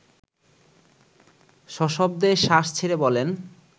সশব্দে শ্বাস ছেড়ে বলেন